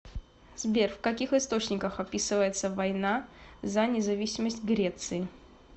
сбер в каких источниках описывается война за независимость греции